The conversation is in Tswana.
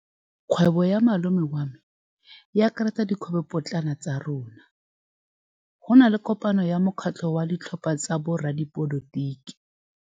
Kgwêbô ya malome wa me e akaretsa dikgwêbôpotlana tsa rona. Go na le kopanô ya mokgatlhô wa ditlhopha tsa boradipolotiki.